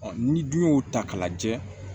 ni dun y'o ta k'a lajɛ